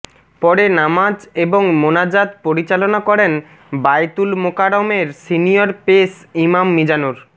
পরে নামাজ এবং মোনাজাত পরিচালনা করেন বায়তুল মোকাররমের সিনিয়র পেশ ইমাম মিজানুর